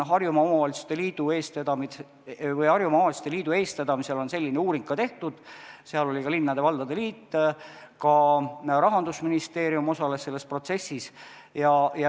Harjumaa Omavalitsuste Liidu eestvedamisel on selline uuring ka tehtud, ka linnade ja valdade liit ja Rahandusministeerium osalesid selles protsessis.